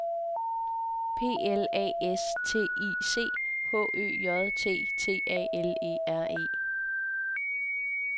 P L A S T I C H Ø J T T A L E R E